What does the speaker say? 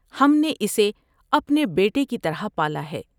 ہم نے اسے اپنے بیٹے کی طرح پالا ہے ۔